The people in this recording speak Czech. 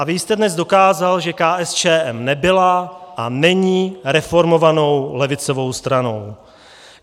A vy jste dnes dokázal, že KSČM nebyla a není reformovanou levicovou stranou.